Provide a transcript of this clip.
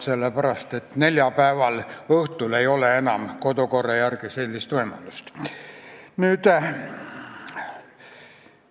Seda sellepärast, et neljapäeva õhtul kodukorra järgi sellist võimalust enam ei ole.